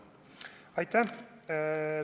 Aitäh!